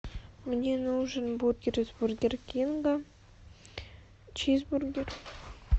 мне нужен бургер из бургер кинга чизбургер